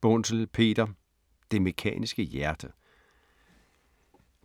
Bunzl, Peter: Det mekaniske hjerte